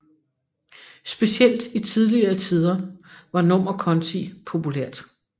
Specielt i tidligere tider var nummerkonti populært